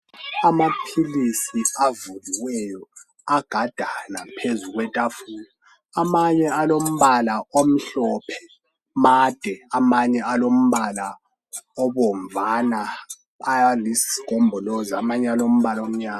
Amaphilisi avuliweyo agadana phezu kwetafula. Amanye lombala omhlophe, made, amanye alombala obomvana, ayisigombolozi amanye lomba omnyama.